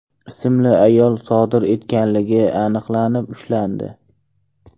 ismli ayol sodir etganligi aniqlanib, ushlandi.